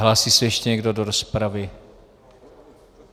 Hlásí se ještě někdo do rozpravy?